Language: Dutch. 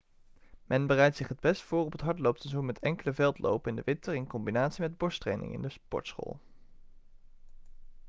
men bereidt zich het best voor op het hardloopseizoen met enkele veldlopen in de winter in combinatie met borsttraining in de sportschool